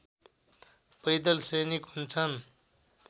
पैदल सैनिक हुन्छन्